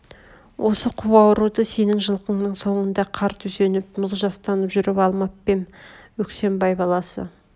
осы қу ауруды сенің жылқыңның соңында қар төсеніп мұз жастанып жүріп алмап па ем өскембай баласы